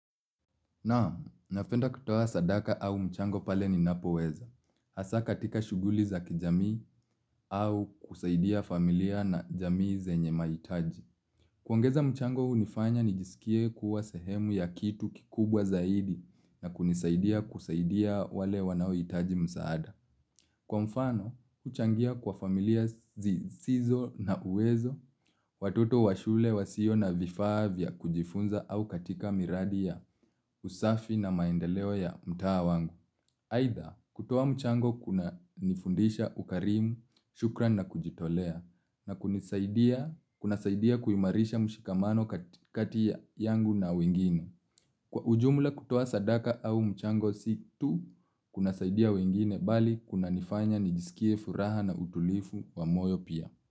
Naam, napenda kutoa sadaka au mchango pale ninapoweza. Hasa katika shughuli za kijamii au kusaidia familia na jamii zenye mahitaji. Kuongeza mchango hunifanya nijisikie kuwa sehemu ya kitu kikubwa zaidi na kunisaidia kusaidia wale wanaohitaji msaada. Kwa mfano, kuchangia kwa familia zisizo na uwezo, watoto wa shule, wasio na vifaa vya kujifunza au katika miradi ya usafi na maendeleo ya mtaa wangu. Aidha, kutoa mchango kunanifundisha ukarimu, shukrani na kujitolea, na kunasaidia kuimarisha mshikamano kati yangu na wengine. Kwa ujumla kutoa sadaka au mchango si tu, kunasaidia wengine bali kunanifanya nijisikie furaha na utulivu wa moyo pia.